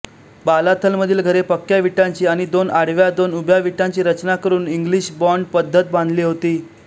बालाथलमधील घरे पक्क्या विटांची आणि दोन आडव्यादोन उभ्या विटांची रचना करून इंग्लिश बॉण्ड पद्धतबांधली होती